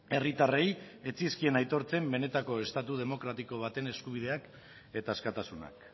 herritarrei ez zitzaizkien aitortzen benetako estatu demokratiko baten eskubideak eta askatasunak